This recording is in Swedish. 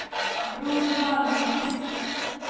Bror Malmqvist